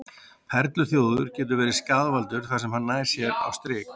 Perluþjófur getur orðið skaðvaldur þar sem hann nær sér á strik.